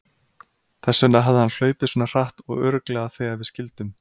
Þess vegna hafði hann hlaupið svona hratt og örugglega þegar við skildum.